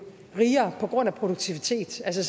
rigere på grund af produktivitet altså